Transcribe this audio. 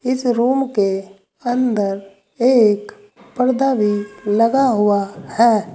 इस रूम के अंदर एक पर्दा भी लगा हुआ है।